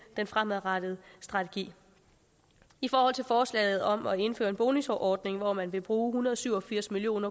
den fremadrettede strategi i forhold til forslaget om at indføre en bonusordning hvor man vil bruge en hundrede og syv og firs million